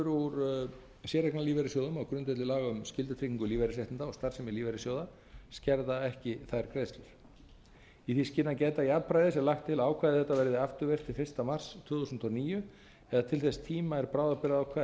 úr séreignarlífeyrissjóðum um skyldutryggingu lífeyrisréttinda og starfsemi lífeyrissjóða skerða ekki þær greiðslur í því skyni að gæta jafnræðis er lagt til að ákvæði þetta verði afturvirkt til fyrsta mars tvö þúsund og níu eða til þess tíma er bráðabirgðaákvæði